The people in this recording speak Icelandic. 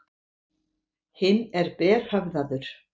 Hinn er berhöfðaður.